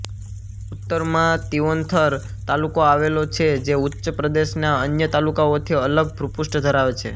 ઉત્તરમાં તિઓન્થર તાલુકો આવેલો છે જે ઉચ્ચપ્રદેશના અન્ય તાલુકાઓથી અલગ ભુપૃષ્ઠ ધરાવે છે